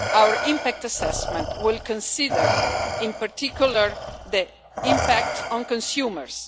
Our impact assessment will consider, in particular, the impact on consumers.